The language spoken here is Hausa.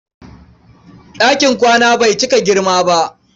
Ɗakin kwana bai cika girma ba.